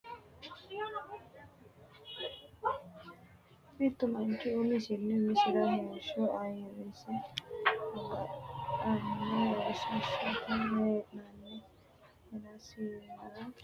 Mittu manchi umisinni umisira heeshsho ayirrise agadhanno heesh- shote hee’nanni hee’rasira dandaanno Mittu manchi umisinni umisira heeshsho ayirrise agadhanno heesh-.